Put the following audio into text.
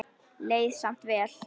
Leið samt vel.